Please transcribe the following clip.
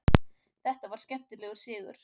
Þetta var skemmtilegur sigur.